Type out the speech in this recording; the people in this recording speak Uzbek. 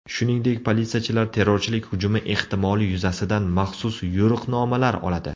Shuningdek, politsiyachilar terrorchilik hujumi ehtimoli yuzasidan maxsus yo‘riqnomalar oladi.